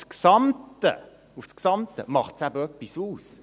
Aber gesamthaft betrachtet macht es eben etwas aus.